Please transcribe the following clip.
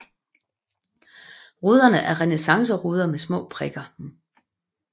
Ruderne er renæssanceruder med små prikker